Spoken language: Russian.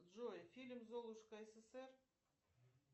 джой фильм золушка ссср